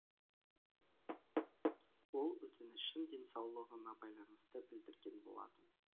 ол өтінішін денсаулығына байланысты білдірген болатын